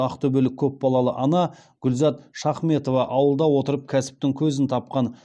ақтөбелік көпбалалы ана гүлзат шахметова ауылда отырып кәсіптің көзін тапқан